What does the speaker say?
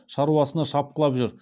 шаруасына шапқылап жүр